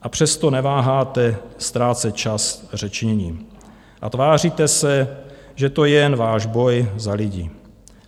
A přesto neváháte ztrácet čas řečněním a tváříte se, že to je jen váš boj za lidi.